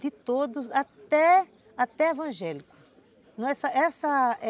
De todos, até até evangélico, essa